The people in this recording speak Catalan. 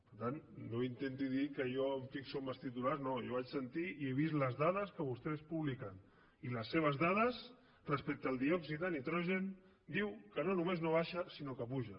per tant no intenti dir que jo em fixo en els titulars no jo vaig sentir i he vist les dades que vostès publiquen i les seves dades respecte al diòxid de nitrogen diuen que no només no baixa sinó que puja